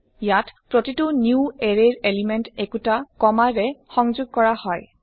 ইয়াত প্ৰতিটো নেৱাৰৰে ৰ এলিমেন্ট একোটা কমা ৰে সংযোগ কৰা হয়